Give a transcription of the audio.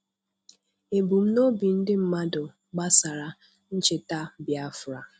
Ebumnobi ndị mmadụ gbasara ncheta Biafra